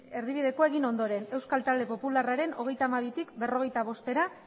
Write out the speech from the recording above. erdibidekoa egin ondoren euskal talde popularraren hogeita hamabitik berrogeita bostera